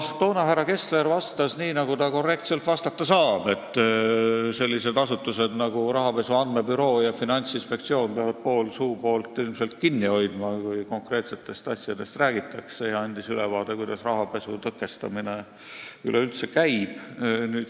Toona vastas härra Kessler nii, nagu ta korrektselt vastata saab – sellised asutused nagu rahapesu andmebüroo ja Finantsinspektsioon peavad ilmselt pool suupoolt kinni hoidma, kui konkreetsetest asjadest räägitakse – ja andis ülevaate, kuidas rahapesu tõkestamine üldiselt käib.